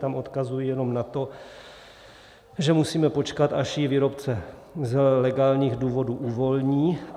Tam odkazuji jenom na to, že musíme počkat, až ji výrobce z legálních důvodů uvolní.